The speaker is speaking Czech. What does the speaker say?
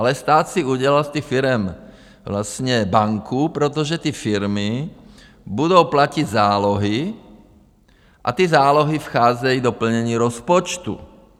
Ale stát si udělal z těch firem vlastně banku, protože ty firmy budou platit zálohy a ty zálohy vcházejí do plnění rozpočtu.